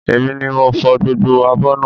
Èmi ni mo fò gbogbo abọ́ náà